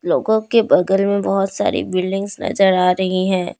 के बगल मे बहुत सारी बिल्डिंग्स नजर आ रही हैं।